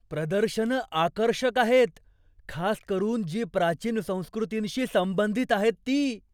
प्रदर्शनं आकर्षक आहेत, खास करून जी प्राचीन संस्कृतींशी संबंधित आहेत ती.